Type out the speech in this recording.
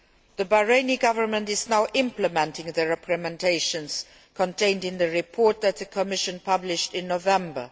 The Bahraini Government is now implementing the recommendations contained in the report that the Commission published in November.